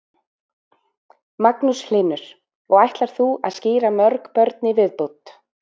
Magnús Hlynur: Og ætlar þú að skíra mörg börn í viðbót?